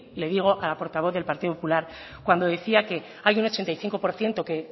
le digo a la portavoz del partido popular cuando decía que hay un ochenta y cinco por ciento que